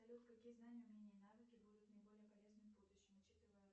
салют какие знания умения навыки будут мне более полезны в будущем учитывая